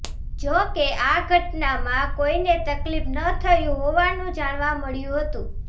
જો કે આ ઘટનામાં કોઈને તકલીફ ન થયું હોવાનું જાણવા મળ્યું હતું